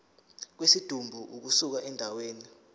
kwesidumbu ukusuka endaweni